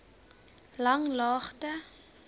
langlaagte